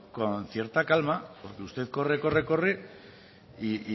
con cierta calma porque usted corre corre y